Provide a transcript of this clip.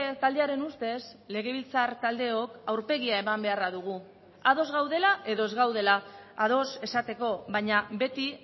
taldearen ustez legebiltzar taldeok aurpegia eman beharra dugu ados gaudela edo ez gaudela ados esateko baina beti